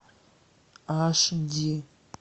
аш ди